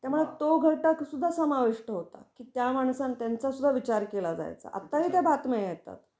त्यामुळे तो घटक सुद्धा समाविष्ट होता की त्या माणसांन त्यांच सुद्धा विचार केला जायचा, आता ही त्या बातम्या येतात.